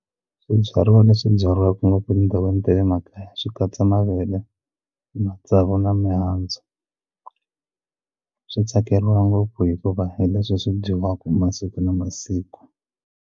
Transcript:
Swibyariwa leswi byariwaku ngopfu etindhawini ta le makaya swi katsa mavele matsavu na mihandzu swi tsakeriwa ngopfu hikuva hi leswi swi dyiwaka masiku na masiku.